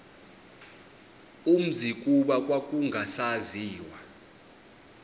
umzi kuba kwakungasaziwa